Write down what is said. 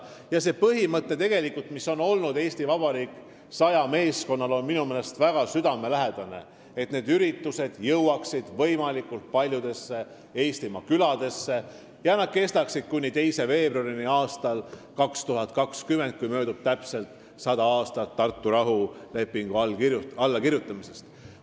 Ja see põhimõte, mis on olnud "Eesti Vabariik 100" meeskonnal, on mulle väga südamelähedane: et need üritused jõuaksid võimalikult paljudesse Eestimaa küladesse ja kestaksid kuni 2. veebruarini aastal 2020, kui möödub täpselt 100 aastat Tartu rahulepingu allakirjutamisest.